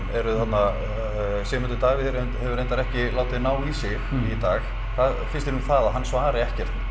eruð þarna Sigmundur Davíð hefur reyndar ekki látið ná í sig í dag hvað finnst þér um það að hann svari ekkert